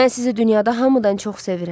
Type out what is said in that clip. Mən sizi dünyada hamıdan çox sevirəm.